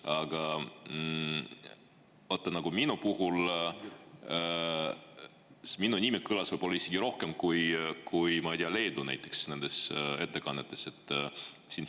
Aga vaata, minu nimi kõlas nendes ettekannetes võib-olla isegi rohkem kui näiteks Leedu.